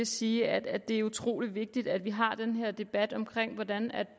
sige at det er utrolig vigtigt at vi har den her debat om hvordan